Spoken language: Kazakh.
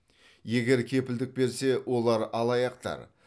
егер кепілдік берсе олар алаяқтар